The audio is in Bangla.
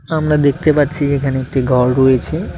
আমরা দেখতে পাচ্ছি এখানে একটি ঘর রয়েছে।